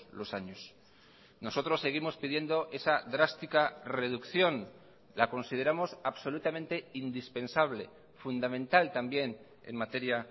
los años nosotros seguimos pidiendo esa drástica reducción la consideramos absolutamente indispensable fundamental también en materia